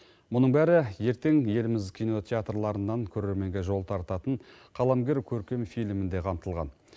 мұның бәрі ертең еліміз кинотеатрларынан көрерменге жол тартатын қаламгер көркем фильмінде қамтылған